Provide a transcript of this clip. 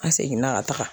An seginna ka taga